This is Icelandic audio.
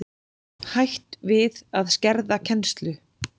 Hætt við að skerða kennslu